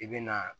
I bɛ na